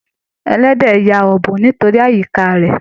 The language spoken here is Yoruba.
Ẹlẹdẹ ya ọbùn nítorí àyíká rẹ.